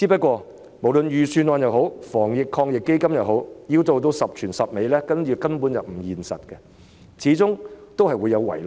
可是，無論預算案也好，防疫抗疫基金也好，要做到十全十美，根本並不現實，始終會有所遺漏。